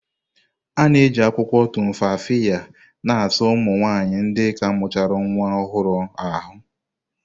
A na-eji akwụkwọ Tumfafiya na-asa ụmụ nwanyị ndị ka mụrụ nnwa ọhụrụ ahụ́.